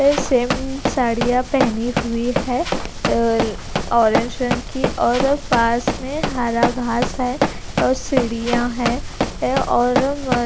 ये सेम साड़ियां पहनी हुई है अह ऑरेंज रंग की और पास में हरा घास है और सीढ़ियां हैं और--